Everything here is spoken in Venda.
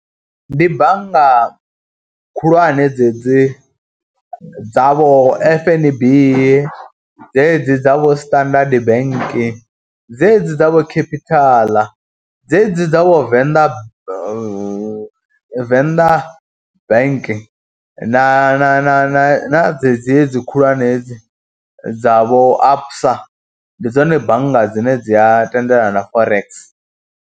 Ndi bannga khulwane dzedzi dza vho F_N_B, dzedzi dza vho Standard Bank, dzedzi dza vho Capital, dzedzi dza vho Venḓa Venḓa Bank na na na dzedzi hedzi khulwane hedzi dza vho ABSA, ndi dzone bannga dzine dzi a tendelana Forex.